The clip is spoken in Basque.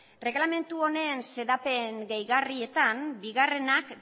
erregelamendu honen xedapen gehigarrietan bigarrenak